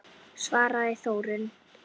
svaraði Þórunn.